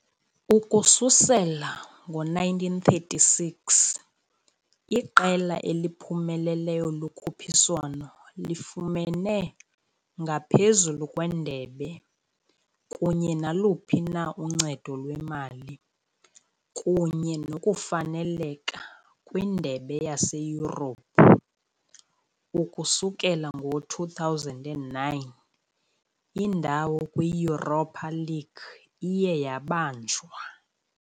Ukususela ngo-1936, iqela eliphumeleleyo lokhuphiswano lifumene, ngaphezu kwendebe kunye naluphi na uncedo lwemali, kunye nokufaneleka kwiindebe zaseYurophu, ukusukela ngo-2009, indawo kwi -Europa League iye yabanjwa.